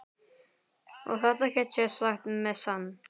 Og þetta get ég sagt með sann.